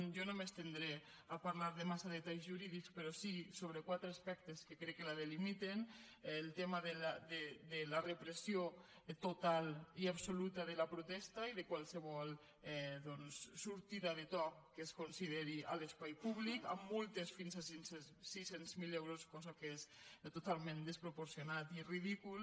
jo no m’estendré a parlar de massa detalls jurídics però sí sobre quatre aspectes que crec que la delimiten el tema de la repressió total i absoluta de la protesta i de qualsevol doncs sortida de to que es consideri en l’espai públic amb multes fins a sis cents miler euros cosa que és totalment desproporcionat i és ridícul